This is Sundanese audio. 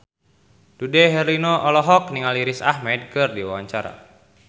Dude Herlino olohok ningali Riz Ahmed keur diwawancara